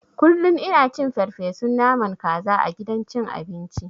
Kullun ina cin farfeson naman kaza a gidan cin abinci.